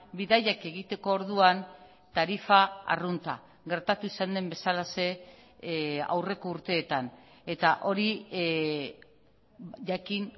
bidaiak egiteko orduan tarifa arrunta gertatu izan den bezalaxe aurreko urteetan eta hori jakin